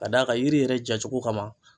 Ka d'a kan yiri yɛrɛ jacogo kama.